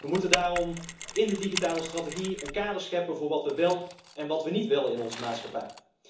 We moeten daarom in de digitale strategie een kader scheppen voor wat we wel en wat we niet willen in onze maatschappij.